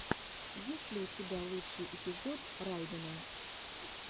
есть ли у тебя лучший эпизод райдена